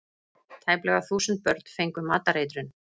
Tæplega þúsund börn fengu matareitrun